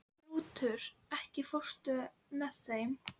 Rútur, ekki fórstu með þeim?